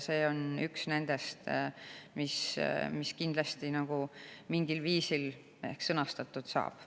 See on üks nendest, mis kindlasti mingil viisil ehk sõnastatud saab.